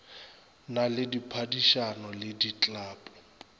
na le diphadišano le diklapo